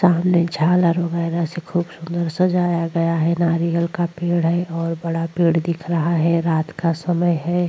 सामने झालर वगैरा से खूबसूरत से सजाया गया है नारियल का पेड़ है और बड़ा पेड़ दिख रहा है रात का समय है।